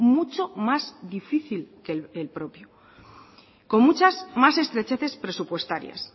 mucho más difícil que el propio con muchas más estrecheces presupuestarias